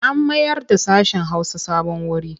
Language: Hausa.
An mayarda sashen Hausa sabon wuri.